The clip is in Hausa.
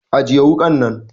Ajiye wukan nan!